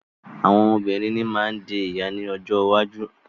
Àwọn obìnrin ní má ń di ìyá ní ọjọ́ iwájú.